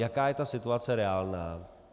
Jaká je ta situace reálná?